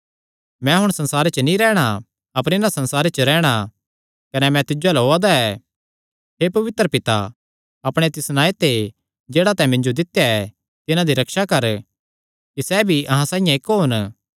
मैं हुण संसारे च नीं रैहणा अपर इन्हां संसारे च रैहणा कने मैं तिज्जो अल्ल ओआ दा हे पवित्र पिता अपणे तिस नांऐ ते जेह्ड़ा तैं मिन्जो दित्या ऐ तिन्हां दी रक्षा कर कि सैह़ भी अहां साइआं इक्क होन